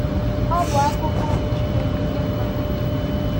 Ọ bụ akụkụ okwu Chineke nye mmadụ.